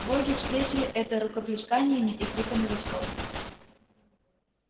боги встретили это рукоплесканиями и криками восторга